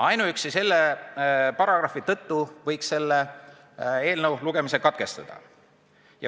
Ainuüksi selle paragrahvi tõttu võiks selle eelnõu lugemise katkestada.